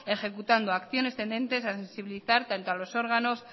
ejecutando acciones tendentes a sensibilizar tanto a los órganos